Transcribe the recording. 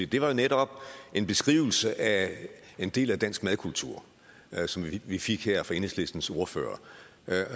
det var jo netop en beskrivelse af en del af dansk madkultur som vi fik her fra enhedslistens ordfører